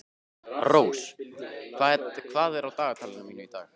Rós, hvað er á dagatalinu mínu í dag?